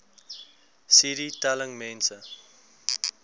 cd telling mense